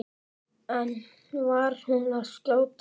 En var hún að skjóta?